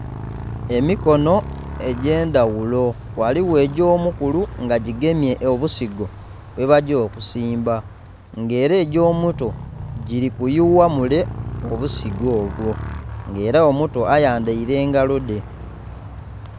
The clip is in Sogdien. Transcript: Emikono egy'endaghulo. Ghaligho egy'omukulu nga gigemye obusigo bwebagya okusimba, nga era egya omuto giri kuyuwa mule obusigo obwo. Nga era omuto ayandhaile engalo dhe.